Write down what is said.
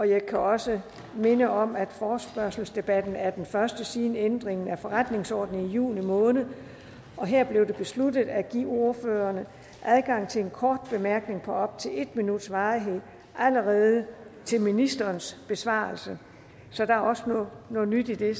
jeg kan også minde om at forespørgselsdebatten er den første siden ændringen af forretningsordenen i juni måned her blev det besluttet at give ordførerne adgang til en kort bemærkning på op til en minuts varighed allerede til ministerens besvarelse så der er også noget nyt i det